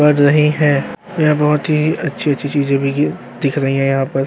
पढ़ रही हैं यहां बहुत अच्छी-अच्छी चीजे भी गिर दिख रही हैं यहाँ पर।